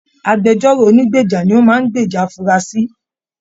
Agbẹ̀jọ́ro ònígbeja ní o máa n gbèjà afurasi.